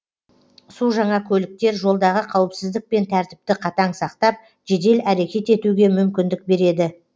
су жаңа көліктер жолдағы қауіпсіздік пен тәртіпті қатаң сақтап жедел әрекет етуге мүмкіндік береді